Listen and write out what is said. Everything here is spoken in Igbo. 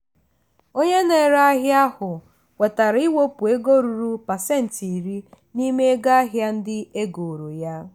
onye na-ere ahịa ahụ kwetara iwepụ ego ruru pasentị iri n'ime ego ahịa ndị egoro ya.